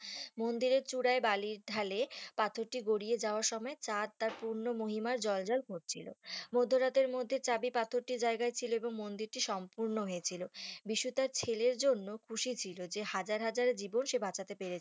মন্দিরের চূড়ায় বালির ঢালে পাথরটি গড়িয়ে যাওয়ার সময় চাঁদ তার পূর্ণ মহিমায় জ্বলজ্বল করছিলো মধ্যে মধ্যরাতের মধ্যে চাবি পাথরটির জায়গায় ছিল এবং মন্দিরটি সম্পূর্ণ হয়েছিল বিশ্ব তার ছেলের জন্য খুশি ছিল যে হাজার হাজার জীবন সে বাঁচাতে পেরেছে